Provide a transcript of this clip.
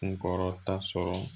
Kun kɔrɔta sɔrɔ